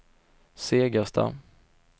Segersta